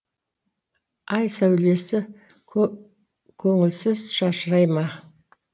ай сәулесі көңілсіз шашырай ма